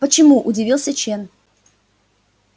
почему удивился чен